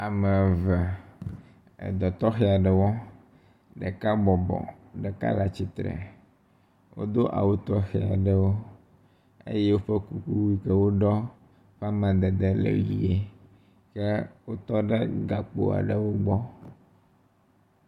Ame eve, edɔ tɔxe aɖe wɔm, ɖeka bɔbɔ, ɖeka le atsitre wodo awu tɔxe aɖewo eye woƒe kuku yi ke woɖɔ ƒe amadede le ʋi ye wotɔ ɖe gakpo aɖewo gbɔ.